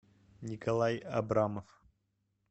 николай абрамов